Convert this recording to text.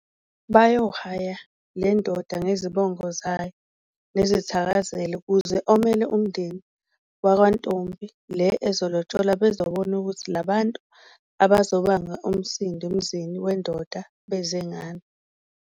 Bayo haya lendoda ngezibongo zanyo nezithakazelo kuze omele umdeni wakwa ntombi le ezolotsholwa bazobona ukuthi labantu abazobanga umsindo emzini wendoda bezengani.